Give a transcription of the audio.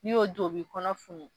N'i y'o dun o b'i kɔnɔ funu